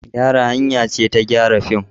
Gyara hanya ce ta gyara fim.